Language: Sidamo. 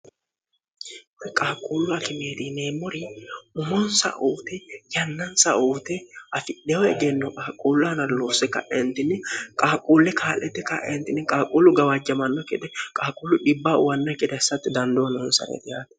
qaaquullu akimeeriineemmori umonsa uote yannansa uute afidhewo egenno qaaquullu analloosse ka'entinni qaaquulle kaa'lette ka'entinni qaaquullu gawaajjamanno kede qaaquullu dhibbaa uwanna keda hissatti dandoo nonsareeti hate